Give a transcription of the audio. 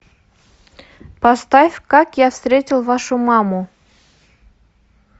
поставь как я встретил вашу маму